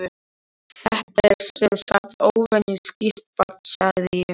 Þetta er sem sagt óvenju skýrt barn, sagði ég.